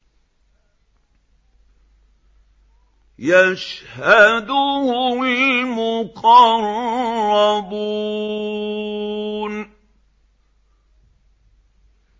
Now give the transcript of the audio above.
يَشْهَدُهُ الْمُقَرَّبُونَ